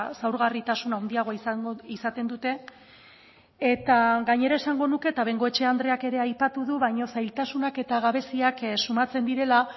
zaurgarritasun handiagoa izaten dute eta gainera esango nuke eta bengoechea andreak ere aipatu du baino zailtasunak eta gabeziak sumatzen direla